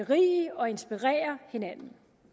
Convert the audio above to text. berige og inspirere hinanden